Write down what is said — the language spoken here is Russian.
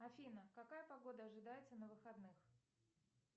афина какая погода ожидается на выходных